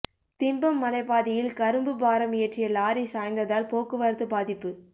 திம்பம் மலைப் பாதையில் கரும்பு பாரம் ஏற்றிய லாரி சாய்ந்ததால் போக்குவரத்து பாதிப்பு